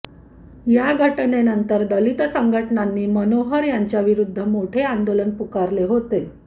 या घटनेनंतर दलित संघटनांनी मनोहर यांच्या विरोधात मोठे आंदोलन पुकारले होते